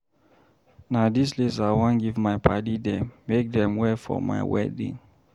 Na dis lace I wan give my padddy dem make dem wear for my wedding.